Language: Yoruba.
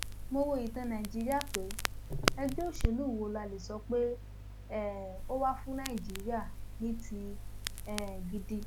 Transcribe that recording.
mo wo ìtàn nàìjíríà pé ẹgbẹ òṣèlú wo la lè sọ pé um ó wà fún nàìjíríà ní ti um gidi